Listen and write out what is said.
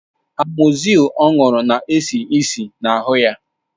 Amozil ọ ṅụrụ na-esi ísì na ahụ ya